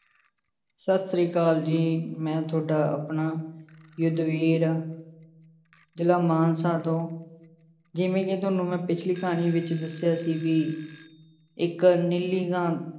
ਸਤਿ ਸ੍ਰੀ ਅਕਾਲ ਜੀ ਮੈਂ ਤੁਹਾਡਾ ਆਪਣਾ ਜ਼ਿਲ੍ਹਾ ਮਾਨਸਾ ਤੋਂ, ਜਿਵੇਂ ਕਿ ਤੁਹਾਨੂੰ ਮੈਂ ਪਿੱਛਲੀ ਕਹਾਣੀ ਵਿੱਚ ਦੱਸਿਆ ਸੀ ਵੀ ਇੱਕ ਨੀਲੀ ਗਾਂ